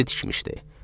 Özü tikmişdi.